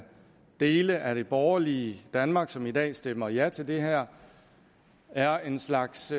dele af det borgerlige danmark som i dag stemmer ja til det her er en slags